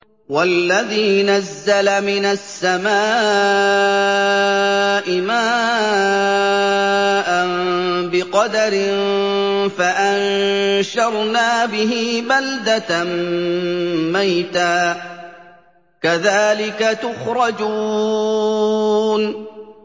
وَالَّذِي نَزَّلَ مِنَ السَّمَاءِ مَاءً بِقَدَرٍ فَأَنشَرْنَا بِهِ بَلْدَةً مَّيْتًا ۚ كَذَٰلِكَ تُخْرَجُونَ